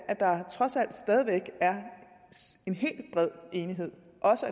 trods alt stadig væk er en helt bred enighed også